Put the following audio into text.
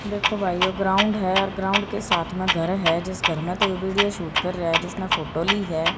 देखो भाईयों ग्राउंड है और ग्राउंड के साथ में घर है जिस घर में ते वीडियो शूट कर रहे है जिसने फोटो ली है।